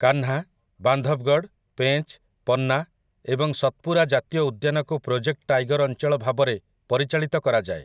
କାହ୍ନା, ବାନ୍ଧବଗଡ଼, ପେଞ୍ଚ୍, ପନ୍ନା ଏବଂ ସତ୍‌ପୁରା ଜାତୀୟ ଉଦ୍ୟାନକୁ ପ୍ରୋଜେକ୍ଟ ଟାଇଗର୍ ଅଞ୍ଚଳ ଭାବରେ ପରିଚାଳିତ କରାଯାଏ ।